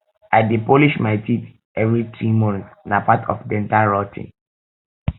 i um dey polish my teeth um every three months na part of dental routine